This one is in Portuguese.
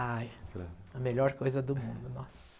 Ai, a melhor coisa do mundo, nossa.